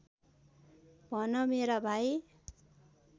भन मेरा भाइ